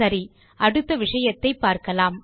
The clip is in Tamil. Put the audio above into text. சரி அடுத்த விஷயத்தை பார்க்கலாம்